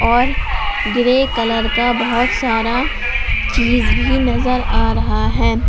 और grey colour का बहुत सारा चीज भी नजर आ रहा है।